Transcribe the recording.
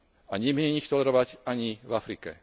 a nemieni ich tolerovať ani v Afrike.